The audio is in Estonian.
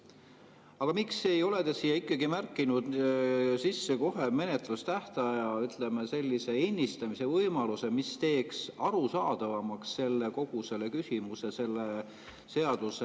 Aga miks ei ole te ikkagi siia märkinud sisse kohe menetlustähtaja, ütleme, sellise ennistamise võimaluse, mis teeks arusaadavamaks kogu selle küsimuse, selle seaduse …